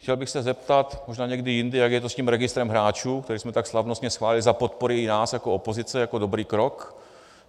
Chtěl bych se zeptat, možná někdy jindy, jak je to s tím registrem hráčů, který jsme tak slavnostně schválili za podpory i nás jako opozice jako dobrý krok.